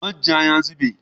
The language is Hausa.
Man ja ya zube.